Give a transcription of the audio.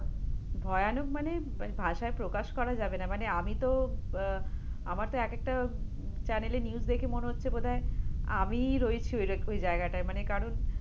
ভয়ানক মানে ভাষায় প্রকাশ করা যাবে না, মানে আমি তো, আহ আমার তো এক একটা channel -এ news দেখে মনে হচ্ছে বোধহয় আমিই রয়েছি ওই ওই জায়গাটায় মানে কারণ